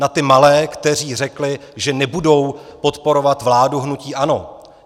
Na ty malé, kteří řekli, že nebudou podporovat vládu hnutí ANO.